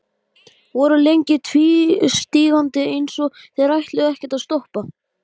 Margrét hafði þagað en nú leit hún upp.